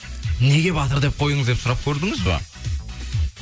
неге батыр деп қойдыңыз деп сұрап көрдіңіз ба